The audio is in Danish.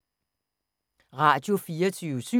Radio24syv